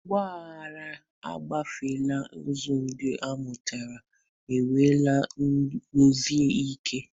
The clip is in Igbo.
Ọgba aghara agafeela, nkuzi ndị amụtara, enweela nkwụsi ike.